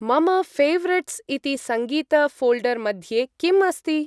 मम फेवरेट्स् इति सङ्गीत-फोल्डर् मध्ये किम् अस्ति?